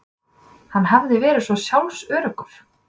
Hann hafði verið svo sjálfsöruggur.